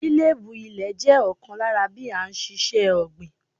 Lílébú ilè jẹ́ ọ̀kan lára bí a n síse ọ̀gbìn